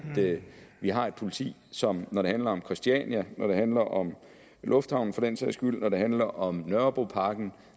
vi har et politi som når det handler om christiania når det handler om lufthavnen for den sags skyld når det handler om nørrebroparken